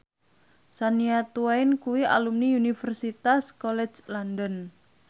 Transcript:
Shania Twain kuwi alumni Universitas College London